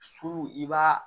Su i b'a